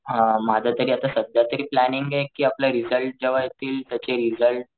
हा माझं तरी आत्ता सध्या तरी प्लॅनिंग कि आपले रिसल्ट जेव्हा येतील त्याचे रिसल्ट.